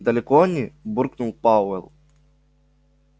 далеко они буркнул пауэлл